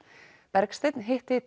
Bergsteinn hitti